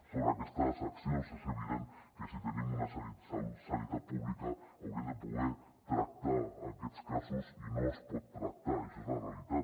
sobre aquestes accions és evident que si tenim una sanitat pública hauríem de poder tractar aquests casos i no es poden tractar això és la realitat